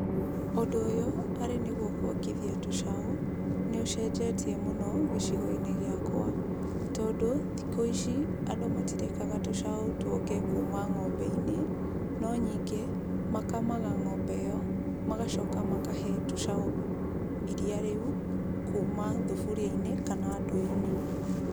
Ũndũ ũyũ arĩ nĩguo kuongithia tũcaũ, nĩũcenjetie mũno gĩcigo-inĩ gĩakwa, tondũ thikũ ici andũ matirekaga tũcaũ twonge kuuma ng'ombe-inĩ, no nyingĩ makamaga ng'ombe ĩyo, magacoka makahe tũcaũ iria rĩu kuuma thuburia-inĩ na ndoo-inĩ.